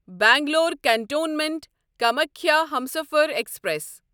Bangalore Cantonment Kamakhya Humsafar express